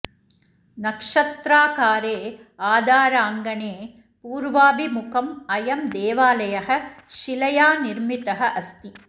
नक्षत्राकारे आधाराङ्णे पूर्वाभिमुखम् अयं देवालयः शिलया निर्मितः अस्ति